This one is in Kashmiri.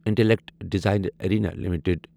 intellect design arena limited